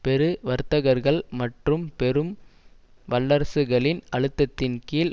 பெரு வர்த்தகர்கள் மற்றும் பெரும் வல்லரசுகளின் அழுத்தத்தின் கீழ்